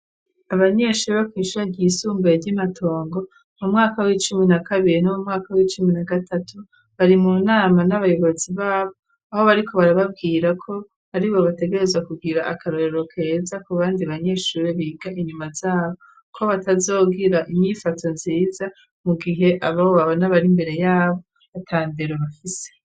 Abanyeshure bo kwishure ryisumbuye ry'imatongo mu mwaka w'icumi na kabiri no mu mwaka w'icumi na gatatu bari mu nama n'abayobozi babo aho bariko barababwira ko ari bo bategerezwa kugira akarorero keza ku bandi banyeshure biga inyuma zabo ko batazogira inyifato nziza mu gihe ababo babona bari mbere yabo atandero bafise.